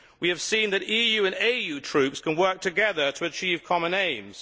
We have seen that EU and AU troops can work together to achieve common aims.